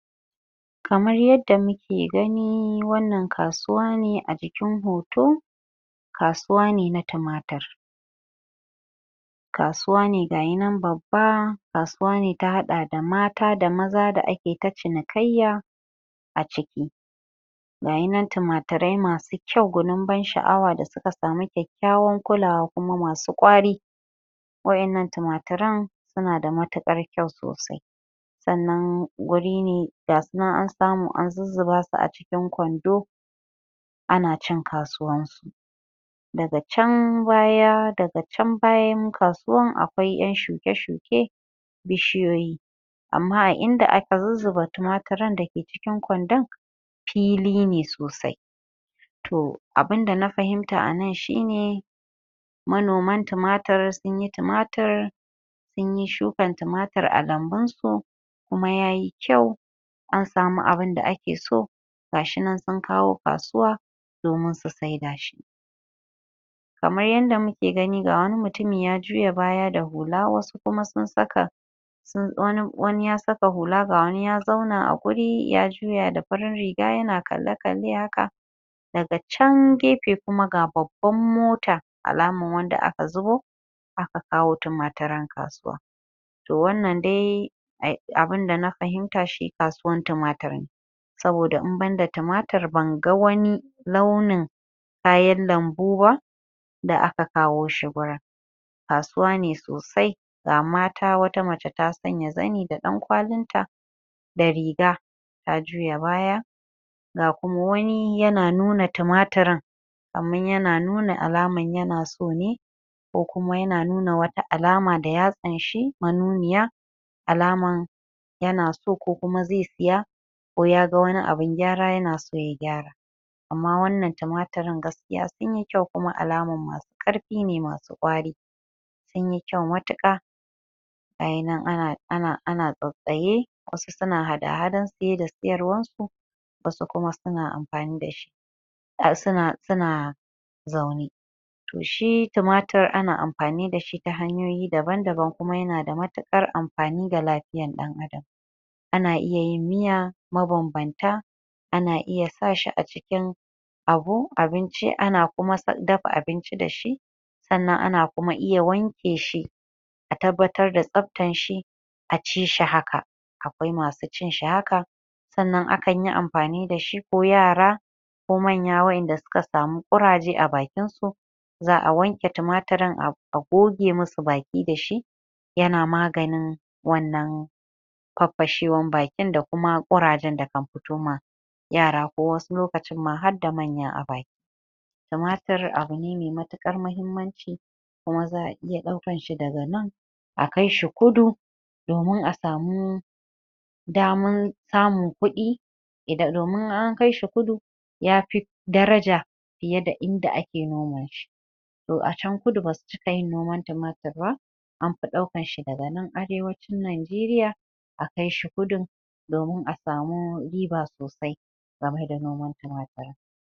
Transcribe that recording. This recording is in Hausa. Kamar yadda muke gani wannan kasuwane a jikin hoto kasuwane na tumatir kasuwane gayi nan babba kasuwane ta haɗa mata da maza da ake ke ta cinikayya aciki gayi nan tumature masu kyau gunun ban sha'awa da suka samu kyakkyawan kulawa kuma masu ƙwari wa'innan tumaturen suna da matuƙar kyau sosai sannan guri ne ga sunan an samu an zuzzuba su a cikin kwando ana cin kasuwan su daga chan baya daga chan bayan kasuwan a kwai ƴan shuke-shuke bishiyoyi amma a inda aka zuzzuba tumaturen dake cikin kwandon fili ne sosai tohh abinda na fahimta anan shi ne manoman tumatir sunyi tumatir sunyi shukan tumatir a lambun su kuma yayi kyau an samu abunda ake so gashi nan sun kawo kasuwa domin su saida shi kamar yadda muke gani ga wani mutumi ya juya baya da hula wasu kuma sun saka sun wani wani ya saka hula ga wani ya zauna a guri ya juya da farin riga yana kalle-kalle haka daga chan gefe kuma ga babban mota alaman wanda aka zu bo aka kawo tumatirin kasuwa toh wannan dai a abinda na fahimta shi kasuwan tumatir ne saboda in banda tumatir ban ga wani launin kayan lambu ba da aka kawo shi gurin kasuwa ne sosai ga mata wata mace ta sanya zani da ɗan kwalin ta da riga ta juya baya ga kuma wani yana nuna tumatirin amman yana nuna alaman yana so ne ko kuma yana nuna wata alama da ya anshi manuniya alaman yana so ko kuma zai siya koh yaga abin gyara yana so ya gyara amma wannan tumatirin gaskiya sunyi kyau kuma alaman masu ƙarfi ne masu ƙwari sunyi kyau matuƙa gayi nan ana ana tsatstsaye wasu suna hada-hadan siye da siyarwan su wasu kuma suna amfani dashi suna suna zaune toh shi tumatir ana amfani dashi tata hanyoyi daban-daban kuma yanada matuƙar amfani ga lafi yan ɗan adam ana iya yin miya ma banbanta ana iya sa shi acikin abu abinci ana kuma dafa abinci dashi sannan ana kuma iya wanke shi a tabbatar da tsaftan shi a ci shi haka akwai masu cin shi haka sannan akanyi amfani dashi ko yara ko manya wa'inda suka samu ƙuraje a bakinsu za'a wanke tumatirin a goge musu baki dashi yana maganin wannan faffashewan bakin da kuma ƙurajen da kan fito ma yara ko wasu lokacin ma harda manya a baki tumatir abune mai matuƙar mahimmanci kuma za'a iya ɗaukan shi daga nan a kaishi kudu domin a samu daman samun kuɗi domin in an kaishi kudu yafi daraja fiye da inda ake noma shi toh a chan kudu basu cika yin noman tumatir ba anfi ɗaukanshi daga nan arewacin najeriya akai shi kudu domin a samu riba sosai game da noman tumatir